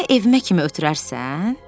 Məni evimə kimi ötürərsən?